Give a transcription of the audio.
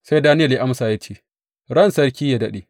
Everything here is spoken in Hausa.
Sai Daniyel ya amsa ya ce, Ran sarki, yă daɗe!